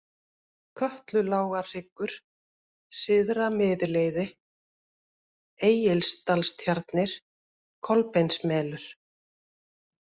Kötlulágarhryggur, Syðra-Miðleiði, Egilsdalstjarnir, Kolbeinsmelur